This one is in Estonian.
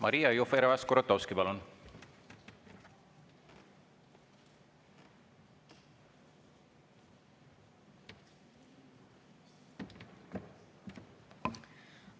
Maria Jufereva‑Skuratovski, palun!